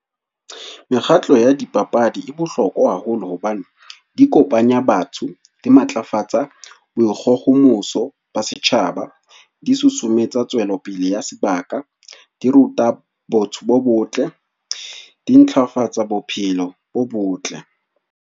Mekgatlo ya dipapadi e bohlokwa haholo hobane di kopanya batho, di matlafatsa boikgohomoso ba setjhaba, di susumetsa tswelopele ya sebaka, di ruta botho bo botle, di ntlafatsang bophelo bo botle.